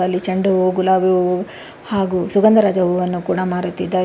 ಅಲ್ಲಿ ಚೆಂಡು ಹೂವು ಗುಲಾಬಿ ಹೂವು ಹಾಗೂ ಸುಗಂಧರಾಜ ಹೂವನ್ನು ಕೂಡ ಮಾರುತ್ತಿದ್ದಾರೆ.